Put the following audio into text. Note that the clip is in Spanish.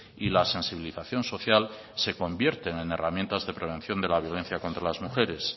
y la sensibilización social se convierten en herramientas de prevención de la violencia contra las mujeres